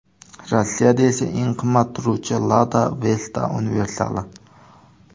Rossiyada eng qimmat turuvchi Lada Vesta universali.